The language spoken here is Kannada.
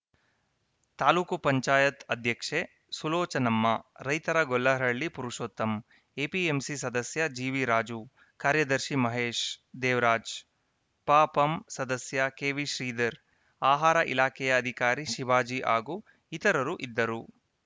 ತಾಲೂಕ್ ಪಂಚಾಯತ್ ಅಧ್ಯಕ್ಷೆ ಸುಲೋಚನಮ್ಮ ರೈತರ ಗೊಲ್ಲರಹಳ್ಳಿ ಪುರುಷೋತ್ತಮ್‌ ಎಪಿಎಂಸಿ ಸದಸ್ಯ ಜಿವಿರಾಜು ಕಾರ್ಯದರ್ಶಿ ಮಹೇಶ್‌ ದೇವರಾಜ್‌ ಪಪಂ ಸದಸ್ಯ ಕೆವಿಶ್ರೀಧರ್‌ ಆಹಾರ ಇಲಾಖೆಯ ಅಧಿಕಾರಿ ಶಿವಾಜಿ ಹಾಗೂ ಇತರರು ಇದ್ದರು